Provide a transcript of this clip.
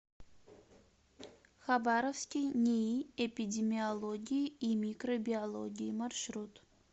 хабаровский нии эпидемиологии и микробиологии маршрут